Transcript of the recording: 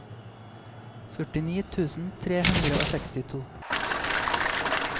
førtini tusen tre hundre og sekstito